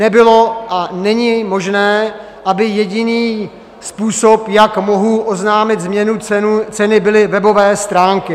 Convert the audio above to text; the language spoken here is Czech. Nebylo a není možné, aby jediný způsob, jak mohu oznámit změnu ceny, byly webové stránky.